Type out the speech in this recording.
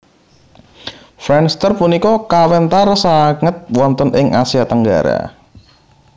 Friendster punika kawentar sanget wonten ing Asia Tenggara